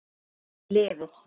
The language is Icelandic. Hún lifir.